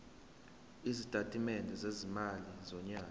isitatimende sezimali sonyaka